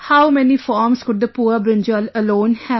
How many forms could the poor brinjal alone have